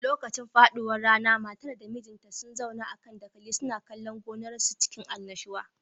Lokacin faduwar rana matar da mijinta sun zauna a kan dakali suna kallon gonar su cikin annashuwa